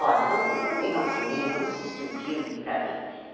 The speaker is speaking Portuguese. Olha, vamos vamos pegar um cinema, vamos assistir um filme para ver.